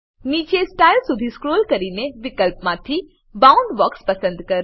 નીચે સ્ટાઇલ સુધી સ્ક્રોલ કરીને વિકલ્પમાંથી બાઉન્ડબોક્સ પસંદ કરો